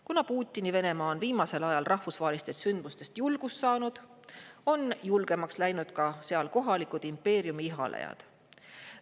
Kuna Putini Venemaa on viimasel ajal rahvusvahelistest sündmustest julgust saanud, on julgemaks läinud ka sealsed kohalikud impeeriumi ihalejaid.